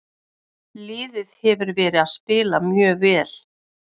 Liðið hefur verið að spila mjög vel.